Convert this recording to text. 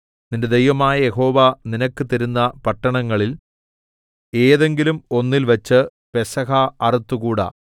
നിന്റെ ദൈവമായ യഹോവ നിനക്ക് തരുന്ന പട്ടണങ്ങളിൽ ഏതെങ്കിലും ഒന്നിൽ വച്ച് പെസഹ അറുത്തുകൂടാ